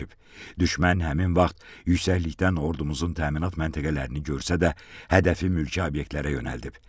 Düşmən həmin vaxt yüksəklikdən ordumuzun təminat məntəqələrini görsə də, hədəfi mülki obyektlərə yönəldib.